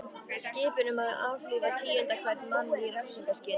Skipun um að aflífa tíunda hvern mann í refsingarskyni.